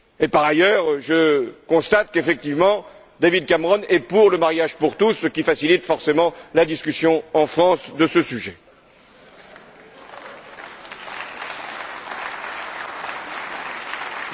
Par ailleurs, je constate qu'effectivement David Cameron est pour le mariage pour tous, ce qui facilite forcément la discussion de ce sujet en France.